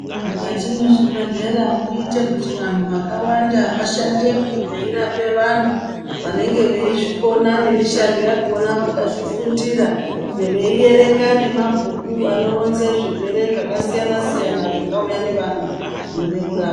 Mukati mezvibhehleya moita kuti vantu vakawanda vashandemo veirapa vantu vanenge veizvikona nemushando yakona vakazvifundira veierenga nemabhuku anoronza zvirwere zvakasiyana siyana zvingauya nevantu zvinoda kurapwa.